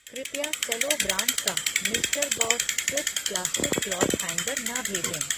कृपया सेलो ब्रांड का mister boss swift plastic cloth hanger न भेजें।